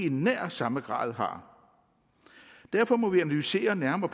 i nær samme grad derfor må vi analysere nærmere